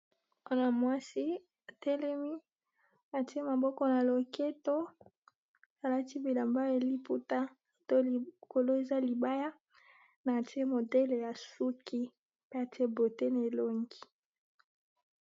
Muana mwasi atelemi atie maboko na loketo, alati bilamba ya liputa to likolo eza libaya na atie modele ya suki pe atie beaute na elongi.